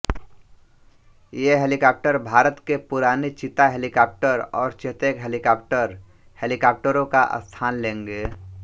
ये हेलीकाप्टर भारत के पुराने चीता हेलीकॉप्टर और चेतक हेलीकॉप्टर हेलीकाप्टरों का स्थान लेंगे